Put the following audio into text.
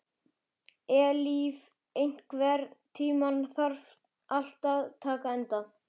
Eilíf, einhvern tímann þarf allt að taka enda.